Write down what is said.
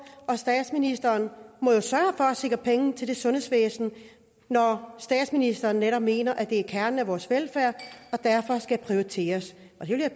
og statsministeren må jo sørge for at sikre penge til det sundhedsvæsen når statsministeren netop mener at det er kernen af vores velfærd og derfor skal prioriteres